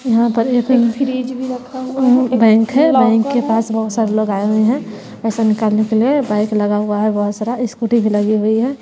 यहां पर एक फ्रिज भी रखा हुआ है एक बैंक है बैंक के पास बहुत सारे लगाए हुए हैं पैसा निकलने के लिए बाइक लगा हुआ है बहुत सारा ई स्कूटी भी लगी हुई है।